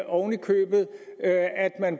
oven i købet